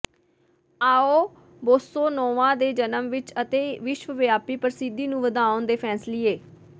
ਆਉ bossa nova ਦੇ ਜਨਮ ਵਿੱਚ ਅਤੇ ਵਿਸ਼ਵ ਵਿਆਪੀ ਪ੍ਰਸਿੱਧੀ ਨੂੰ ਵਧਾਉਣ ਦੇ ਫੈਸਲੀਏ